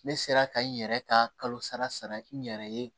Ne sera ka n yɛrɛ ka kalo sara sara n yɛrɛ ye